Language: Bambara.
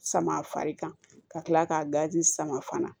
Sama fari kan ka kila k'a gazi sama fana